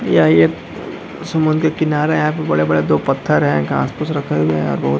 यह एक समुन्द्र के किनारे यहाँ बड़े-बड़े दो पत्थर हैं घास फुस रखे हुआ है और बहुत --